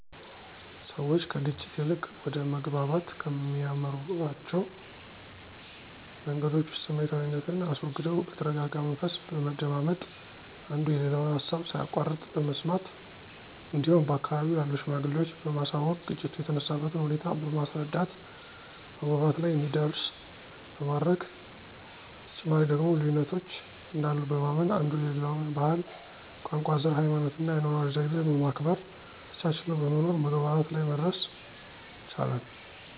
ሰዎች ከግጭት ይልቅ ወደ መግባባት ከሚያመሯቸዉ መንገዶች ዉስጥ ስሜታዊነትን አስወግደው በተረጋጋ መንፈስ በመደማመጥ፣ አንዱ የሌላውን ሀሳብ ሳያቋርጥ በመስማት እንዲሁም በአካባቢው ላሉ ሽማግሌዎች በማሳወቅ ግጭቱ የተነሳበትን ሁኔታ በማስረዳት መግባባት ላይ እንዲደረስ በማድረግ፤ በተጨማሪ ደግሞ ልዩነቶች እንዳሉ በማመን አንዱ የሌላውን ባህል፣ ቋንቋ፣ ዘር፣ ሀይማኖትና የአኗኗር ዘይቤ በማክበር ተቻችለው በመኖር መግባባት ላይ መድረስ ይቻላል።